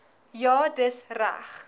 ja dis reg